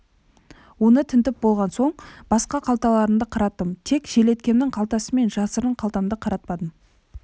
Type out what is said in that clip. оны тінтіп болған соң басқа қалталарымды қараттым тек қана желеткімнің қалтасы мен жасырын қалтамды қаратпадым